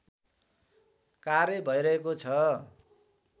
कार्य भैरहेको छ